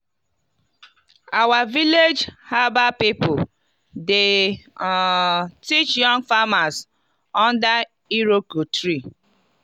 i dey dry leaf inside banana fibre so e go last well.